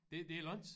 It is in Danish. Det det er langt